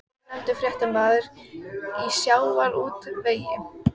Allt tíðindalaust á akreininni við hliðina.